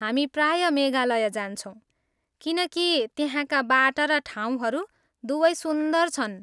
हामी प्राय मेघालय जान्छौँ किनकि त्यहाँका बाटा र ठाउँहरू दुवै सुन्दर छन्।